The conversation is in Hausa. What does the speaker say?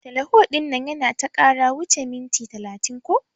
Teleho ɗinnan yana ta kara wuche minti talatin ko.